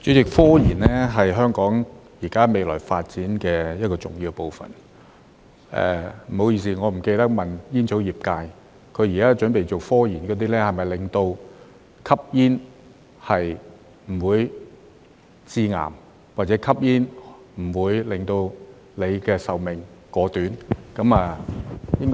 主席，科研現時是香港未來發展的一個重要部分......不好意思，我忘了問煙草業界，他們現時準備進行的科研是否關於令吸煙不會致癌，或令吸煙不會縮短壽命？